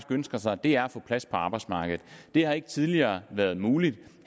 ønsker sig er at få plads på arbejdsmarkedet det har ikke tidligere været muligt